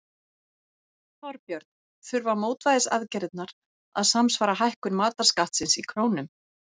Þorbjörn: Þurfa mótvægisaðgerðirnar að samsvara hækkun matarskattsins í krónum?